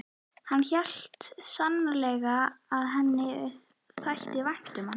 Hann hélt sannarlega að henni þætti vænt um hann.